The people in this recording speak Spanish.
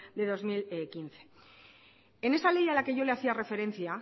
de dos mil quince en esa ley a la que yo le hacía referencia